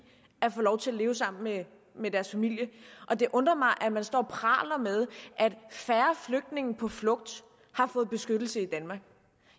at få lov til at leve sammen med med deres familie og det undrer mig at man står og praler med at færre flygtninge på flugt har fået beskyttelse